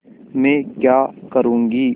मैं क्या करूँगी